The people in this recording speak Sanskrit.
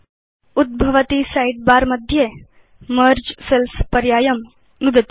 उद्भवति साइडबार मध्ये मेर्गे सेल्स् पर्यायं नुदतु